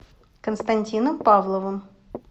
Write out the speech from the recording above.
константином павловым